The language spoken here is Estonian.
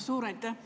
Suur aitäh!